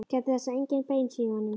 Gætið þess að engin bein séu í honum.